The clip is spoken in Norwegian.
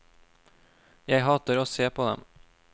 Jeg hater å se på dem.